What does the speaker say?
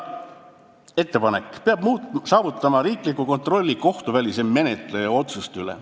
Ettepanek: peab saavutama riikliku kontrolli kohtuvälise menetleja otsuste üle.